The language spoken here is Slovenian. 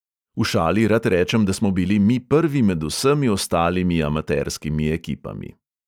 V šali rad rečem, da smo bili mi prvi med vsemi ostalimi amaterskimi ekipami.